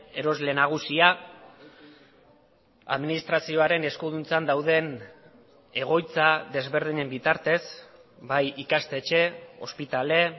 erosle nagusia administrazioaren eskuduntzan dauden egoitza desberdinen bitartez bai ikastetxe ospitale